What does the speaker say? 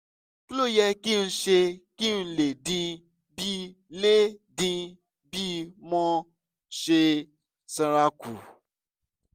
kí ló yẹ kí n ṣe kí n lè dín bí lè dín bí mo ṣe sanra kù?